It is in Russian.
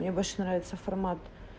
мне больше нравится формат